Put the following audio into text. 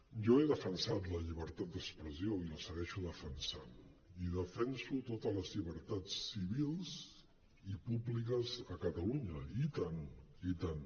jo he defensat la llibertat d’expressió i la segueixo defensant i defenso totes les llibertats civils i públiques a catalunya i tant i tant